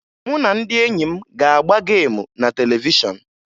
Mụ na ndị enyi m ga-agba geemu na televishọn